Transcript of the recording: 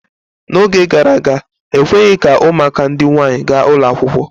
N'oge gara aga, ekweghị ka ụmụaka ndị nwaanyị gaa ụlọ akwụkwọ.